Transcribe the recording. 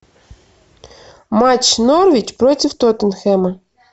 матч норвич против тоттенхэма